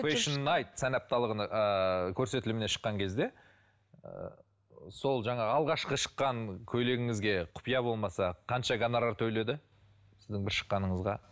фэшн найт сән апталығын ыыы көрсетіліміне шыққан кезде ы сол жаңағы алғашқы шыққан көйлегіңізге құпия болмаса қанша гонорар төледі сіздің бір шыққаныңызға